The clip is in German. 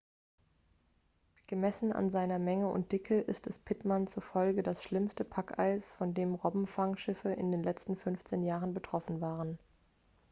gemessen an seiner menge und dicke ist es pittman zufolge das schlimmste packeis von dem robbenfangschiffe in den letzten 15 jahren betroffen waren